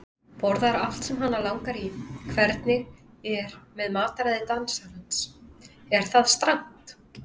Borðar allt sem hana langar í Hvernig er með mataræði dansarans, er það strangt?